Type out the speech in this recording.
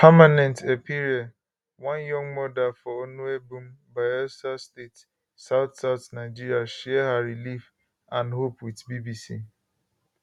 permanent epiere one young mother for onuebum bayelsa state southsouth nigeria share her relief and and hope wit bbc